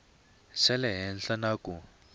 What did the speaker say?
xa le henhla na ku